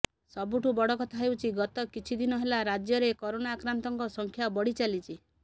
ସବୁଠୁ ବଡ଼ କଥା ହେଉଛି ଗତ କିଛିଦିନ ହେଲା ରାଜ୍ୟରେ କରୋନା ଆକ୍ରାନ୍ତଙ୍କ ସଂଖ୍ୟା ବଢ଼ି ଚାଲିଛି